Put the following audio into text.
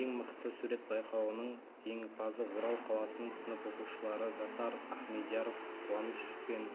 ең мықты сурет байқауының жеңімпазы орал қаласының сынып оқушылары жасар ахмедияров қуаныш пен